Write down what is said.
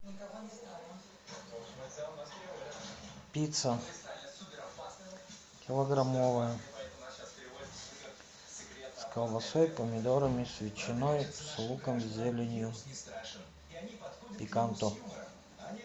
пицца килограммовая с колбасой помидорами с ветчиной с луком зеленью пиканто